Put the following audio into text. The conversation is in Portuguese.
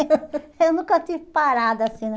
Eu nunca tive parada assim.